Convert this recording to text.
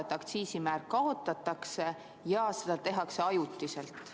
Seda, et aktsiisimäär kaotatakse ja seda tehakse ajutiselt.